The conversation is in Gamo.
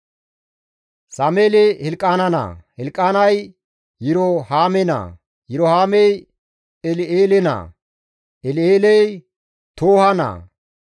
Sameeli Hilqaana naa; Hilqaanay Yirohaame naa; Yirohaamey El7eele naa; El7eeley Tooha naa;